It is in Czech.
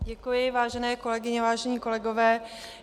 Děkuji, vážené kolegyně, vážení kolegové.